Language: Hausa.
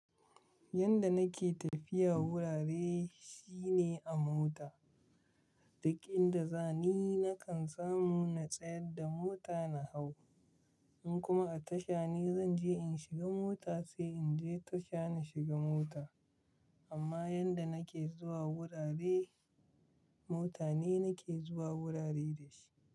Yanda nake tafiya wurare shine a mota. Duƙ in da zani nakan samu na tsayar da mota na hau. In kuma a tasha ne zan je in shiga mota sai in je tasha na shiga mota. Amma yanda nake zuwa wurare, mota ne nake zuwa wurare da shi.